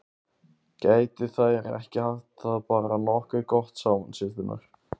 Gætu þær ekki haft það bara nokkuð gott saman, systurnar?